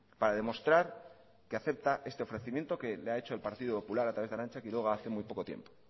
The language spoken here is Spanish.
para demostrar que acepta este ofrecimiento que le ha hecho el partido popular a través de arantza quiroga hace muy poco tiempo